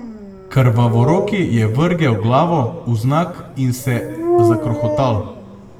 Krvavoroki je vrgel glavo vznak in se zakrohotal.